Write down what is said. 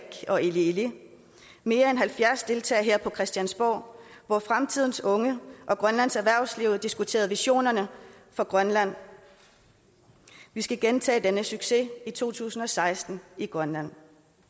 og ili ili mere end halvfjerds deltagere her på christiansborg hvor fremtidens unge og grønlands erhvervsliv diskuterede visionerne for grønland vi skal gentage denne succes i to tusind og seksten i grønland